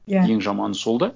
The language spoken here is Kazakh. иә ең жаманы сол да